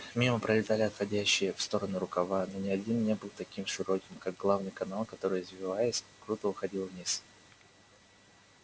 мимо пролетали отходящие в стороны рукава но ни один не был таким широким как главный канал который извиваясь круто уходил вниз